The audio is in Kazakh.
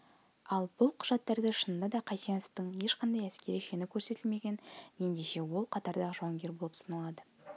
ал бұл құжаттарда шынында да қайсеновтің ешқандай әскери шені көрсетілмеген ендеше ол қатардағы жауынгер болып саналады